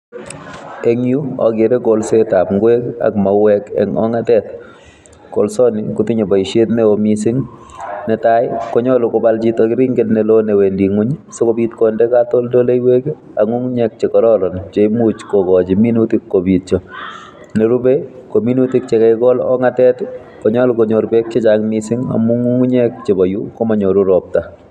En yu ogeere kolsetab ingwek am mauek en ongatet, kolsoni kotinye boishet neo missing, netai konyolu kobal chito keringet newendii ngwony sikobiit konde katoltoleiwek ak ngungnyek che kororon cheimuch kokochi minutik kobiityoo. Nerube ko minutik Che kakigol en ongatet i,konyolu konyoor beek chechang missing amun ngungunyek chebo yuu komonyoru roopta